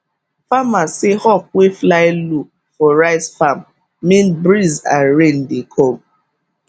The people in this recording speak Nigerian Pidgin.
farmers say hawk wey fly low for rice farm mean breeze and rain dey come